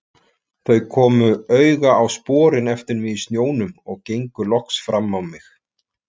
Þau komu auga á sporin eftir mig í snjónum og gengu loks fram á mig.